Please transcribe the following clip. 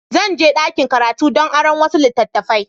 Zan je ɗakin karatu don aron wasu littattafai.